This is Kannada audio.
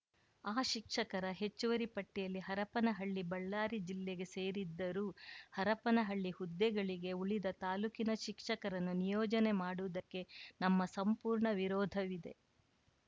ಆ ಶಿಕ್ಷಕರ ಹೆಚ್ಚುವರಿ ಪಟ್ಟಿಯಲ್ಲಿ ಹರಪ್ಪನಹಳ್ಳಿ ಬಳ್ಳಾರಿ ಜಿಲ್ಲೆಗೆ ಸೇರಿದ್ದರೂ ಹರಪ್ಪನಹಳ್ಳಿ ಹುದ್ದೆಗಳಿಗೆ ಉಳಿದ ತಾಲೂಕಿನ ಶಿಕ್ಷಕರನ್ನು ನಿಯೋಜನೆ ಮಾಡುವುದಕ್ಕೆ ನಮ್ಮ ಸಂಪೂರ್ಣ ವಿರೋಧವಿದೆ